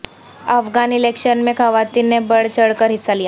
Afghan election میں خواتین نے بڑھ چڑھ کر حصہ لیا